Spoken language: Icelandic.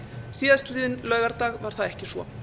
síðastliðinn laugardag var það ekki svo